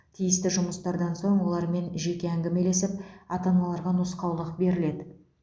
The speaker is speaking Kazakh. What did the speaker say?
тиісті жұмыстардан соң олармен жеке әңгімелесіп ата аналарға нұсқаулық беріледі